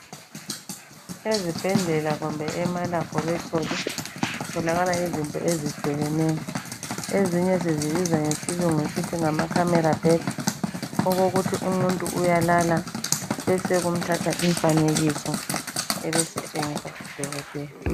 Ezibhedlela kumbe ema laboratory kufunakala izinto ezehlukeneyo; ezinye sizibiza ngesilungu sithi ngama camera bed okokuthi umuyru uyalala bese kumthatha umfanekise ebesetshengisa udokotela.